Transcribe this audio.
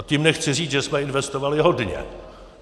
A tím nechci říct, že jsme investovali hodně.